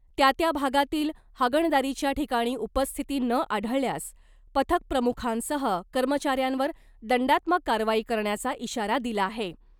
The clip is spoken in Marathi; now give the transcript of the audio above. त्या त्या भागातील हागणदारीच्या ठिकाणी उपस्थिती न आढळल्यास पथकप्रमुखांसह कर्मचाऱ्यांवर दंडात्मक कारवाई करण्याचा इशारा दिला आहे .